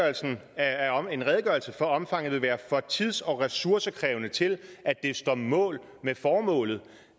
jo selv at en redegørelse for omfanget vil være for tids og ressourcekrævende til at det står mål med formålet